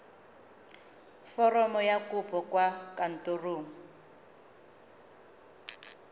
foromo ya kopo kwa kantorong